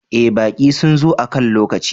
Eh, baƙi sun zo akan lokaci.